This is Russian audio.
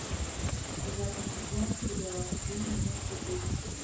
девятый сезон сериал вы меня все бесите